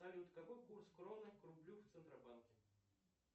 салют какой курс кроны к рублю в центробанке